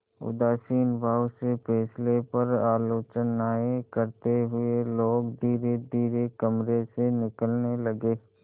उदासीन भाव से फैसले पर आलोचनाऍं करते हुए लोग धीरेधीरे कमरे से निकलने लगे